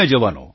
Shri Hari જી